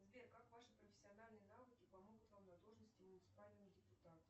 сбер как ваши профессиональные навыки помогут вам на должности муниципального депутата